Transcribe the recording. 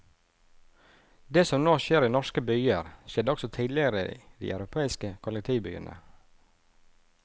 Det som nå skjer i norske byer, skjedde også tidligere i de europeiske kollektivbyene.